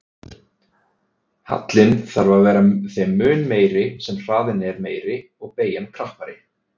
Hallinn þarf að vera þeim mun meiri sem hraðinn er meiri og beygjan krappari.